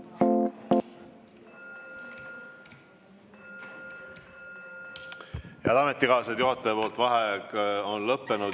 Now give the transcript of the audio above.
Head ametikaaslased, juhataja vaheaeg on lõppenud.